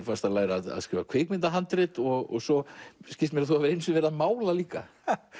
varst að læra að skrifa kvikmyndahandrit og svo skilst mér að þú hafir einu sinni verið að mála líka